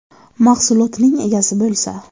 Mahsulotining egasi bo‘lsa.